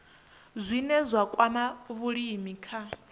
zwine zwa kwama vhulimi kha